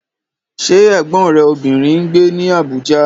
Ṣé Ẹ̀gbọ́n rẹ obìnrin ń gbé ní Abuja?